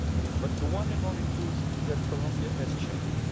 But the one and only truth is that Colombia has changed.